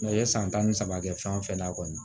i ye san tan ni saba kɛ fɛn fɛn na kɔni